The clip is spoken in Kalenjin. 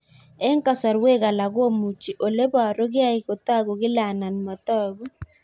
Eng' kasarwek alak komuchi ole parukei kotag'u kila anan matag'u